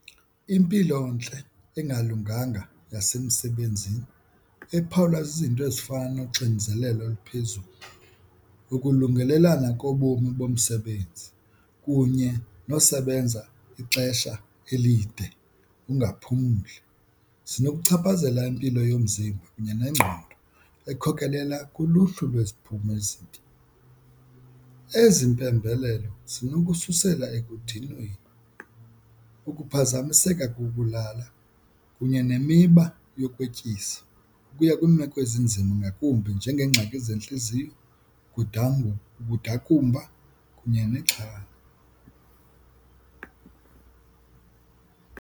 Impilontle engalunganga yasemsebenzini ephawulwa zizinto ezifana noxinzelelo oluphezulu, ukulungelelana kobomi bomsebenzi kunye nosebenza ixesha elide ungaphumli zinokuchaphazela impilo yomzimba kunye nengqondo ekhokelela kuluhlu lweziphumo ezibi. Ezi mpembelelo zinokususela ekudinweni, ukuphazamiseka kokulala kunye nemiba yokwetyisa ukuya kwiimeko ezinzima ngakumbi njengeengxaki zentliziyo, ukudakumba kunye nexhala.